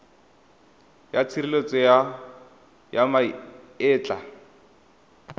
ya tshireletso ya ma etla